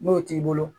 N'o t'i bolo